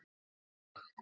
Mynd: Teitur Jónsson.